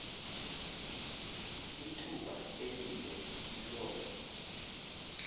ithuba elide loo